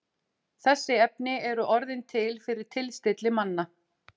Þessi efni eru orðin til fyrir tilstilli manna.